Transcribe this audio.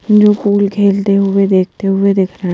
जो फूल खेलते हुए देखते हुए दिख रहा है।